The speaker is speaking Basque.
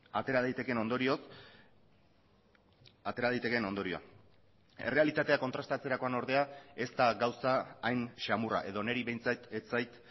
atera daitekeen ondorioz atera daitekeen ondorioa errealitatea kontrastatzerakoan ordea ez da gauza hain samurra edo niri behintzat ez zait